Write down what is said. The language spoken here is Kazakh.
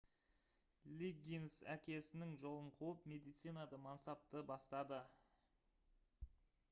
лиггинс әкесінің жолын қуып медицинада мансапты бастады